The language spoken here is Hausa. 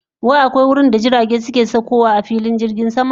Wai akwai wurinda jiragen sama suna saukowa a filin jirgin sama?